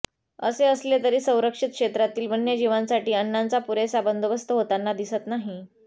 असे असले तरी संरक्षित क्षेत्रातील वन्य जीवांसाठी अन्नाचा पुरेसा बंदोबस्त होताना दिसत नाही